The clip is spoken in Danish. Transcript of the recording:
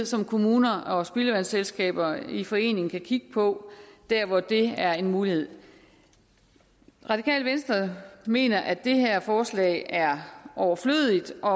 som kommuner og spildevandsselskaber i forening kan kigge på dér hvor det er en mulighed radikale venstre mener at det her forslag er overflødigt og